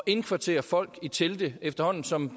indkvartere folk i telte efterhånden som